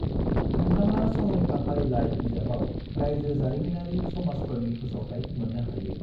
नोंथाङा संरैखा फारिलाइ बिजाबाव रायजो जारिमिनारि समाजफोरनि फोसावथाइ मोननो हायो।